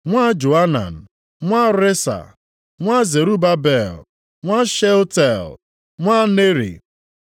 nwa Joanan, nwa Resa, nwa Zerubabel, nwa Shealtiel, nwa Neri;